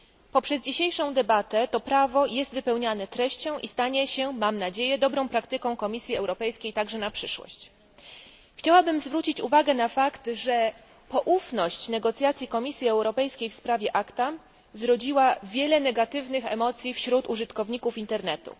Poprzez dzisiejszą debatę to prawo jest wypełnianie treścią i stanie się, mam nadzieję, dobrą praktyką Komisji Europejskiej także na przyszłość. Chciałabym zwrócić uwagę na fakt, że poufność negocjacji Komisji Europejskiej w sprawie ACTA zrodziła wiele negatywnych emocji wśród użytkowników Internetu.